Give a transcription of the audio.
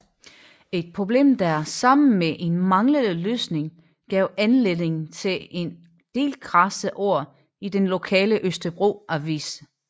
Et problem der sammen med en manglende løsning gav anledning til en del krasse ord i den lokale Østerbro Avis